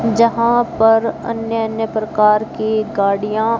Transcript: जहां पर अन्य अन्य प्रकार की गाड़ियां--